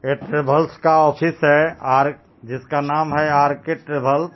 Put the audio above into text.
ये ट्रवल्स का ऑफिस हे आर जिसका नाम है आर_के ट्रवल्स .